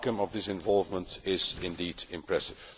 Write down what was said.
The outcome of its involvement is indeed impressive.